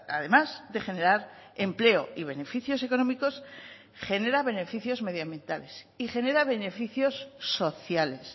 además de generar empleo y beneficios económicos genera beneficios medioambientales y genera beneficios sociales